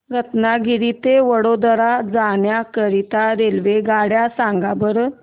रत्नागिरी ते वडोदरा जाण्या करीता रेल्वेगाड्या सांगा बरं